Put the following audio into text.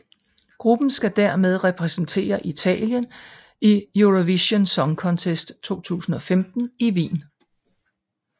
Gruppen skal dermed repræsentere Italien i Eurovision Song Contest 2015 i Wien